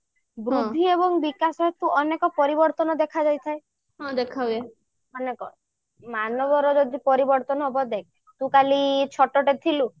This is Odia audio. ବୃଦ୍ଧି ଏବଂ ବିକାଶ ହେତୁ ଅନେକ ପରିବର୍ତ୍ତନ ଦେଖା ଯାଇଥାଏ ମାନେ କଣ ମାନବର ଜାଡୀ ପରିବର୍ତ୍ତନ ହବ ତୁ ଦେଖେ ତୁ କଲି ଛୋଟ ତେ ଥିଲୁ